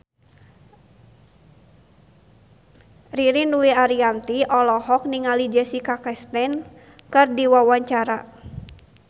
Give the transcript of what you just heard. Ririn Dwi Ariyanti olohok ningali Jessica Chastain keur diwawancara